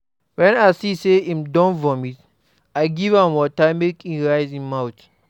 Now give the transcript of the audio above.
Wen I see sey im don vomit, I give am water make e rinse mouth.